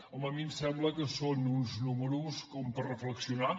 home a mi em sembla que són uns números com per reflexionar